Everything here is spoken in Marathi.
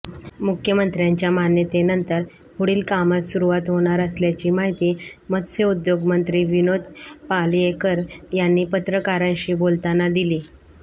मुख्यमंत्र्यांच्या मान्यतेनंतर पुढील कामास सुरुवात होणार असल्याची माहिती मत्स्योद्योगमंत्री विनोद पालयेकर यांनी पत्रकारांशी बोलताना दिली